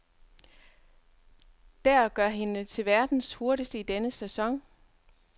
Der gør hende til verdens hurtigste i denne sæson.